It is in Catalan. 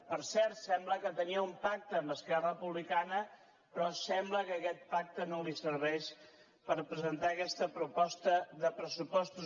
per cert sembla que tenia un pacte amb esquerra republicana però sembla que aquest pacte no li serveix per presentar aquesta proposta de pressupostos